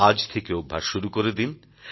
আজ থেকে অভ্যাস শুরু করে দিন